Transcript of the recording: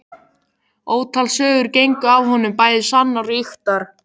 Ótal sögur gengu af honum, bæði sannar og ýktar.